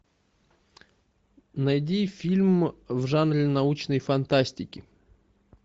найди фильм в жанре научной фантастики